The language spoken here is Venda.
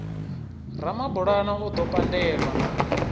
ramabulana o ḓo pandelwa na